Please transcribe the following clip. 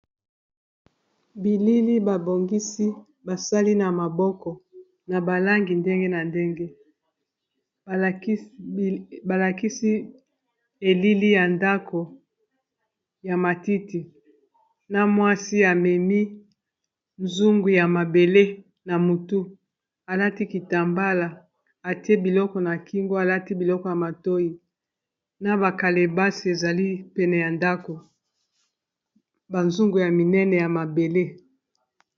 Bilili babongisi basali na maboko na balangi ndenge na ndenge balakisi elili ya ndako ya matiti na mwasi amemi nzungu ya mabele na mutu alati kitambala etie biloko na kingo alati biloko ya matoyi na ba kalebasi ezali pene ya ndako ba zungu ya minene ya mabele.